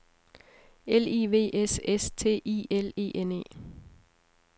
L I V S S T I L E N E